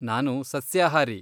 ನಾನು ಸಸ್ಯಾಹಾರಿ.